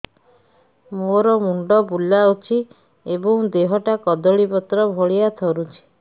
ମୋର ମୁଣ୍ଡ ବୁଲାଉଛି ଏବଂ ଦେହଟା କଦଳୀପତ୍ର ଭଳିଆ ଥରୁଛି